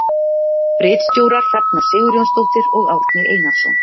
Ritstjórar Hrefna Sigurjónsdóttir og Árni Einarsson.